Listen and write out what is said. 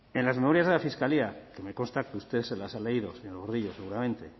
en las memorias de la fiscalía que me consta que usted se las ha leído señor gordillo seguramente